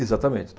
Exatamente.